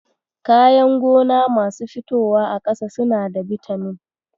Kayan gona masu fitowa a ƙasa suna da bitamin.